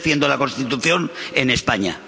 Yo defiendo la Constitución en España.